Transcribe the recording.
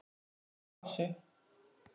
Ég er í pásu.